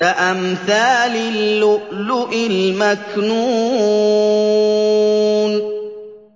كَأَمْثَالِ اللُّؤْلُؤِ الْمَكْنُونِ